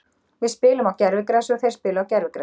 Við spilum á gervigrasi og þeir spila á gervigrasi.